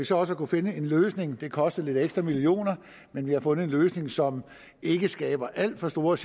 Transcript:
så også kunnet finde en løsning det kostede lidt ekstra millioner men vi har fundet en løsning som ikke skaber alt for stor